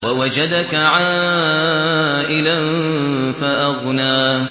وَوَجَدَكَ عَائِلًا فَأَغْنَىٰ